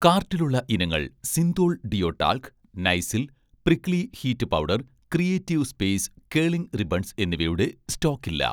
കാർട്ടിലുള്ള ഇനങ്ങൾ 'Cinthol' deo talc, 'Nycil' prickly heat powder, 'creative space' curling ribbons എന്നിവയുടെ സ്റ്റോക്കില്ല